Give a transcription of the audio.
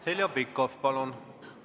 Heljo Pikhof, palun!